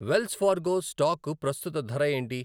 Wells Fargo stock ప్రస్తుత ధర ఏంటి?